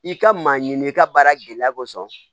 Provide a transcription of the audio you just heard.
I ka maa ɲini i ka baara gɛlɛya kosɔn